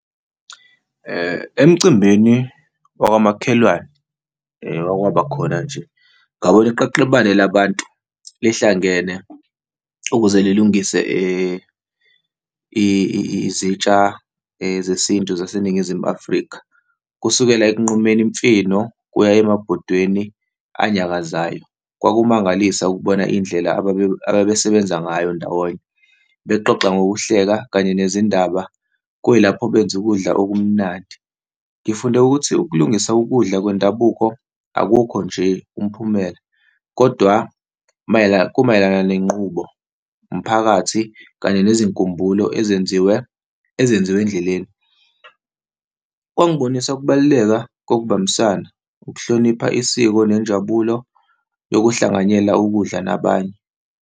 Emcimbini wakamakhelwane owakwaba khona nje, ngabona iqeqebane labantu lihlangene ukuze lilungise izitsha zesintu zaseNingizimu Afrika, kusukela ekunqumeni imfino, kuya emabhodweni anyakazayo, kwakumangalisa ukubona indlela abasebenza ngayo ndawonye, bexoxa ngokuhleka kanye nezindaba. Kuyilapho benza ukudla okumnandi. Ngifunde ukuthi ukulungisa ukudla kwendabuko akukho nje umphumela, kodwa mayelana, kumayelana nenqubo, umphakathi kanye nezinkumbulo ezenziwe, ezenziwe endleleni. Kwangibonisa ukubaluleka kgokubambisana, ukuhlonipha isiko nenjabulo yokuhlanganyela ukudla nabanye.